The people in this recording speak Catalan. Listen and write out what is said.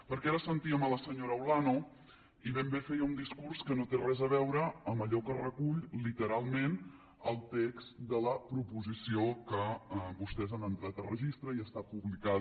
perquè ara sentíem la senyora olano i ben bé feia un discurs que no té res a veure amb allò que recull literalment el text de la proposició que vostès han entrat a registre i està publicada